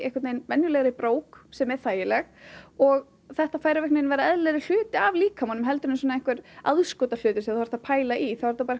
venjulegri brók sem er þægileg og þetta fer að verða eðilegri hluti af líkamanum heldur en einhver aðskotahlutur sem þú þarft að pæla í